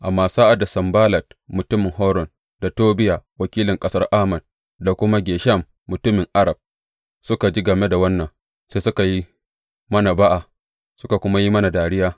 Amma sa’ad da Sanballat mutumin Horon da Tobiya wakilin ƙasar Ammon da kuma Geshem mutumin Arab suka ji game da wannan, sai suka yi mana ba’a suka kuma yi mana dariya.